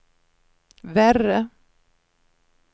värre